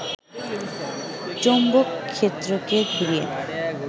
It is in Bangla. চৌম্বকক্ষেত্রকে ঘুরিয়ে